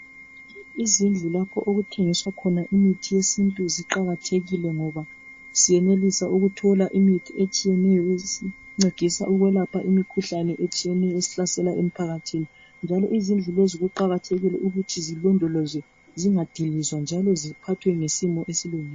Izindlu lapho okuthengiswa khona imithi yesintu ziqakathekile ngoba siyenelisa ukuthola imithi etshiyeneyo esincedisa ukwelapha imikhuhlane etshiyeneyo esihlasela emphakathini. Njalo izindlu lezi kuqakathekile ukuthi zilondolozwe zingadilizwa njalo ziphathwe ngesimo esilula.